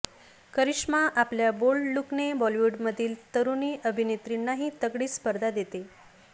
करिश्मा आपल्या बोल्ड लुकने बॉलिवूडमधील तरुणी अभिनेत्रींनाही तगडी स्पर्धा देते